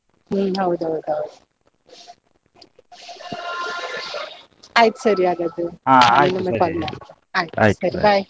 ಹ್ಮ್‌ ಹೌದೌದೌದು. ಆಯ್ತು ಸರಿ ಹಾಗಾದ್ರೆ ಇನ್ನೊಮ್ಮೆ call ಮಾಡ್ತೇನೆ, bye .